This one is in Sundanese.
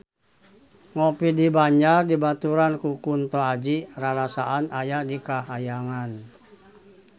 Ngopi di Banjar dibaturan ku Kunto Aji rarasaan aya di kahyangan